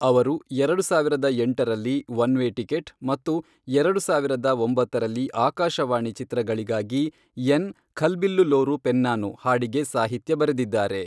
ಅವರು, ಎರಡು ಸಾವಿರದ ಎಂಟರಲ್ಲಿ ಒನ್ ವೇ ಟಿಕೆಟ್ ಮತ್ತು ಎರಡು ಸಾವಿರದ ಒಂಬತ್ತರಲ್ಲಿ ಆಕಾಶವಾಣಿ ಚಿತ್ರಗಳಿಗಾಗಿ, ಎನ್ ಖಲ್ಬಿಲ್ಲುಲ್ಲೋರು ಪೆನ್ನಾನು, ಹಾಡಿಗೆ ಸಾಹಿತ್ಯ ಬರೆದಿದ್ದಾರೆ.